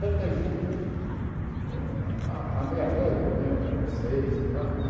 Tantas juntas e eh à à meia-noite, à meia-noite às seis, sei lá, né?